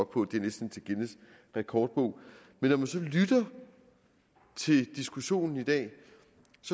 på det er næsten til guinness rekordbog men når man så lytter til diskussionen i dag